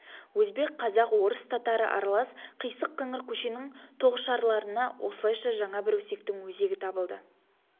өзбек қазақ орыс татары аралас қисық-қыңыр көшенің тоғышарларына осылайша жаңа бір өсектің өзегі табылды